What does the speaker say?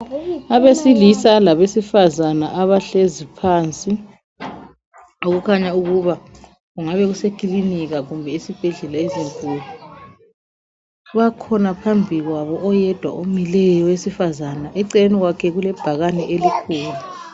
Abesilisa labesifazana abahlezi phansi. Okukhanya ukuba kungabe kusekilinika kumbe esibhedlela ezinkulu. Bakhona phambi kwabo oyedwa omileyo owesifazana. Eceleni kwakhe kulebhakane elikhulu.